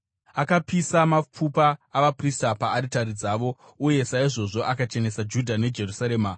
Akapisa mapfupa avaprista paaritari dzavo, uye saizvozvo akachenesa Judha neJerusarema.